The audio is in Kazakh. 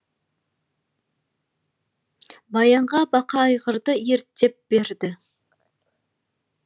баянға бақа айғырды ерттеп берді